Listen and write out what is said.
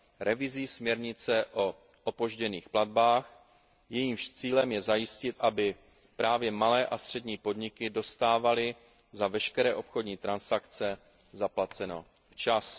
revizí směrnice o opožděných platbách, jejímž cílem je zajistit, aby právě malé a střední podniky dostávaly za veškeré obchodní transakce zaplaceno včas.